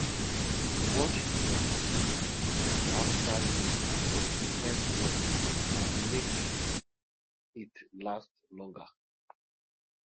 wash your cultivator after use to prevent rust and make it last longer